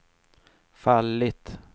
fallit